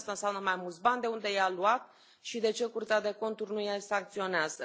5. Asta înseamnă mai mulți bani, de unde i a luat și de ce Curtea de Conturi nu o sancționează?